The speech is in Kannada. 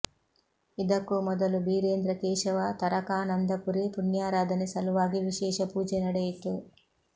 ಇದಕ್ಕೂ ಮೊದಲು ಬೀರೇಂದ್ರ ಕೇಶವ ತಾರಕಾನಂದಪುರಿ ಪುಣ್ಯಾರಾಧನೆ ಸಲುವಾಗಿ ವಿಶೇಷ ಪೂಜೆ ನಡೆಯಿತು